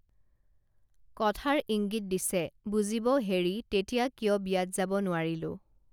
কথাৰ ইঙ্গিত দিছে বুজিব হেৰি তেতিয়া কিয় বিয়াত যাব নোৱাৰিলোঁ